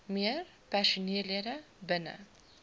meer personeellede binne